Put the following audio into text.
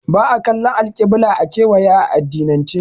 Ba'a kallan alƙibila a kewaya a addinance